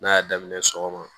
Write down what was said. N'a y'a daminɛ sɔgɔma